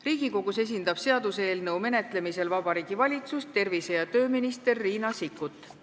Riigikogus esindab seaduseelnõu menetlemisel Vabariigi Valitsust tervise- ja tööminister Riina Sikkut.